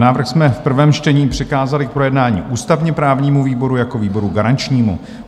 Návrh jsme v prvém čtení přikázali k projednání ústavně-právnímu výboru jako výboru garančnímu.